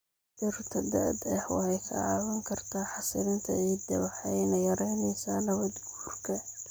Dhirta da'da ah waxay kaa caawin kartaa xasilinta ciidda waxayna yaraynaysaa nabaad-guurka.